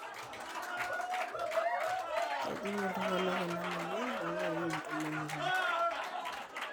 kejing'iltunganak ena moyian loo larin ntomoni ile